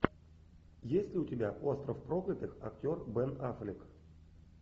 есть ли у тебя остров проклятых актер бен аффлек